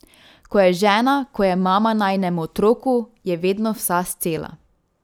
Ko je žena, ko je mama najinemu otroku, je vedno vsa scela.